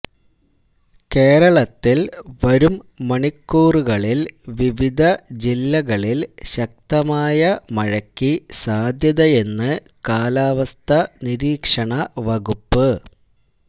കേരളത്തില് വരും മണിക്കൂറുകളില് വിവിധ ജില്ലകളില് ശക്തമായ മഴയ്ക്ക് സാധ്യതയെന്ന് കാലാവസ്ഥാ നിരീക്ഷണ വകുപ്പ്